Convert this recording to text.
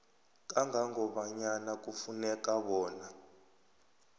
kangangobanyana kufuneka bona